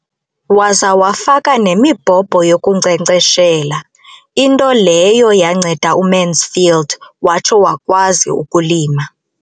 Waza wafaka nemibhobho yokunkcenkceshela, into leyo yanceda uMansfield watsho wakwazi ukulima.